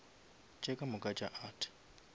tše ka moka tša art